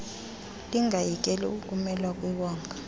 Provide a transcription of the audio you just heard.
lingayekeli ukumelwa kwiwonga